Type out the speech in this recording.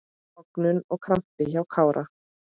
Tognun eða krampi hjá Kára?